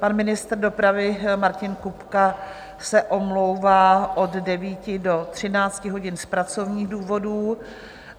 Pan ministr dopravy Martin Kupka se omlouvá od 9 do 13 hodin z pracovních důvodů.